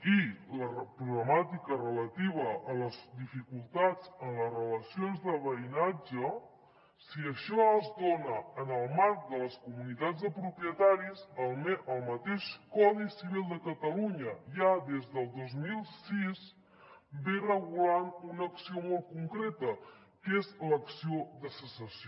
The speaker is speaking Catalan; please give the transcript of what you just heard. i la problemàtica relativa a les dificultats en les relacions de veïnatge si això es dona en el marc de les comunitats de propietaris el mateix codi civil de catalunya ja des del dos mil sis regula una acció molt concreta que és l’acció de cessació